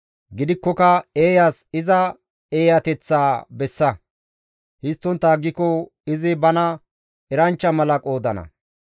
Gidikkoka eeyas iza eeyateththaa bessa; histtontta aggiko izi bana eranchcha mala qoodana.